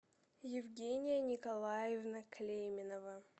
евгения николаевна клейменова